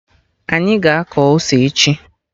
Anyị ga-akọ ose echi